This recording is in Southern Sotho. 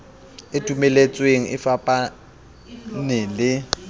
e dumeletsweng e fapane le